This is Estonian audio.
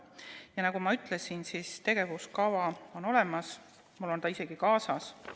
Ja nagu ma ütlesin, on tegevuskava olemas, mul on see isegi kaasas.